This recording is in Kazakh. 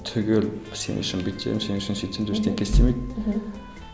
сен үшін бүйтем сен үшін сөйтем деп ештеңе істемейді мхм